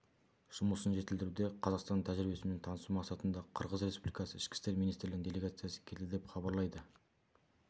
жұмысын жетілдіруде қазақстанның тәжірибесімен танысу мақсатында қырғыз республикасы ішкі істер министрлігінің делегациясы келді деп хабарлайды